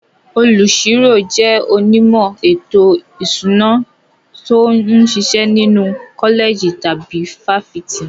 Olùṣirò jẹ́ onímọ̀ ètò ìṣúná tó ń ṣiṣẹ́ nínú kọ́lẹ̀jì tàbí fáfitì.